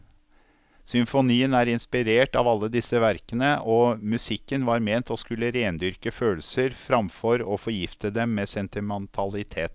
Symfonien er inspirert av alle disse verkene, og musikken var ment å skulle rendyrke følelser framfor å forgifte dem med sentimentalitet.